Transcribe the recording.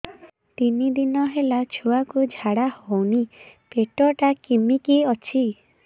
ତିନି ଦିନ ହେଲା ଛୁଆକୁ ଝାଡ଼ା ହଉନି ପେଟ ଟା କିମି କି ଅଛି